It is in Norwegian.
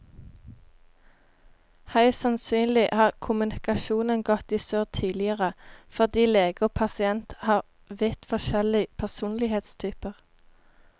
Høyst sannsynlig har kommunikasjonen gått i surr tidligere fordi lege og pasient har vidt forskjellig personlighetstyper.